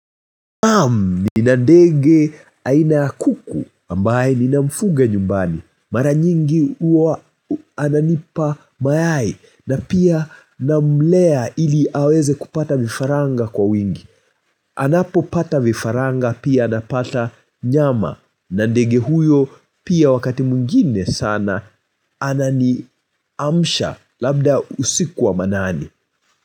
Nina ndege aina ya kuku ambaye ninamfuga nyumbani. Mara nyingi huwa ananipa mayai na pia namlea ili aweze kupata vifaranga kwa wingi. Anapopata vifaranga pia napata nyama. Na ndege huyo pia wakati mwingine sana anani mamsha labda usiku wa manane.